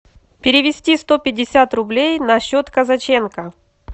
перевести сто пятьдесят рублей на счет казаченко